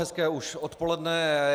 Hezké už odpoledne.